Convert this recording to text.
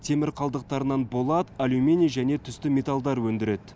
темір қалдықтарынан болат алюминий және түсті металдар өндіреді